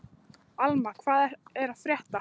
Alma, hvað er að frétta?